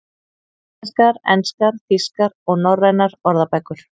Íslenskar, enskar, þýskar og norrænar orðabækur.